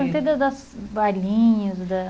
Eu perguntei das das bailinhos, das